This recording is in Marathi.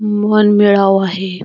मन मिळावु आहे.